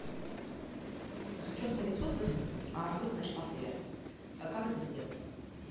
алиса хочу оставить отзыв о работе нашего отеля как это сделать